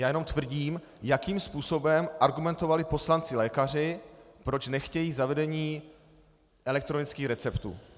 Já jenom tvrdím, jakým způsobem argumentovali poslanci-lékaři, proč nechtějí zavedení elektronických receptů.